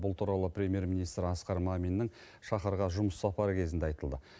бұл туралы премьер министр асқар маминның шахарға жұмыс сапары кезінде айтылды